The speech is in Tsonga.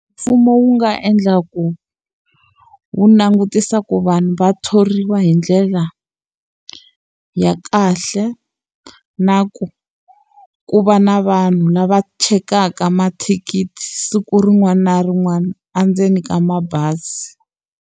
Mfumo wu nga endla ku wu langutisa ku vanhu va thoriwa hi ndlela ya kahle, na ku ku va na vanhu lava chekaka mathikithi siku rin'wana na rin'wana endzeni ka mabazi.